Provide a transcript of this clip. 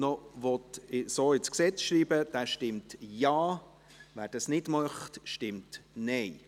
Wer diesen Artikel so ins Gesetz schreiben will, stimmt Ja, wer dies nicht möchte, stimmt Nein.